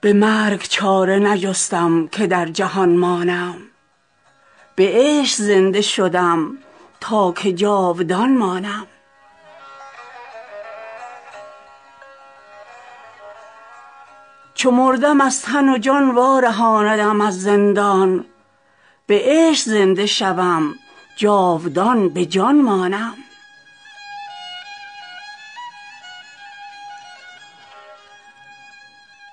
به مرگ چاره نجستم که در جهان مانم به عشق زنده شدم تا که جاودان مانم چو مردم از تن و جان وارهاندم از زندان به عشق زنده شوم جاودان به جان مانم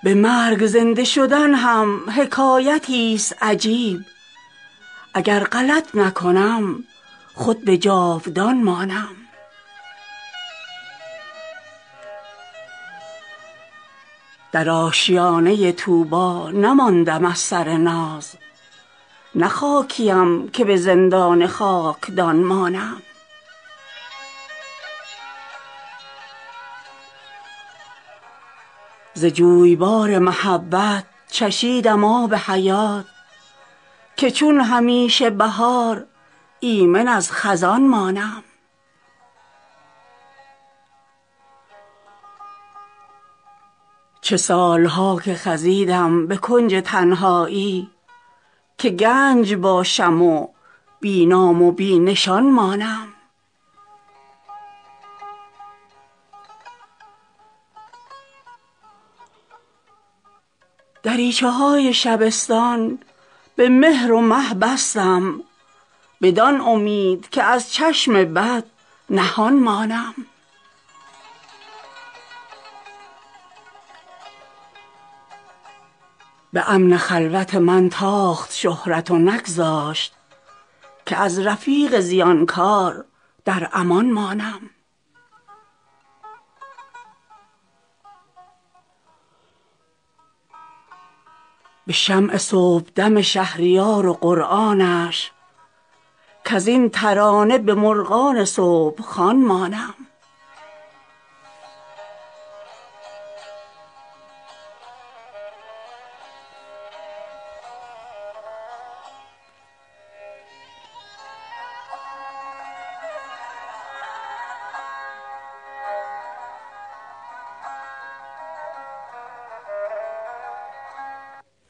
به مرگ زنده شدن هم حکایتی ست عجیب اگر غلط نکنم خود به جاودان مانم در آشیانه طوبا نماندم از سر ناز نه خاکیم که به زندان خاکدان مانم ز جویبار محبت چشیدم آب حیات که چون همیشه بهار ایمن از خزان مانم غبار چشمه حیوان حجاب ذوالقرن است به خضر گو تو اگر پیر من جوان مانم چه سال ها که خزیدم به کنج تنهایی که گنج باشم و بی نام و بی نشان مانم دریچه های شبستان به مهر و مه بستم بدان امید که از چشم بد نهان مانم به خشت و گل نه فرود آمدی سرم گفتی که در سراچه امکان به لامکان مانم به امن خلوت من تاخت شهرت و نگذاشت که از رفیق زیانکار در امان مانم به شمع صبحدم شهریار و قرآنش کزین ترانه به مرغان صبح خوان مانم